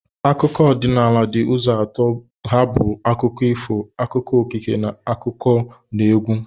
Akụkọ ọdịnala di uzo atọ ha bu akụkọ ifo, akụkọ okike, na akụkọnaegwu